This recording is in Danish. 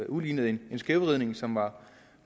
udlignet en skævvridning som var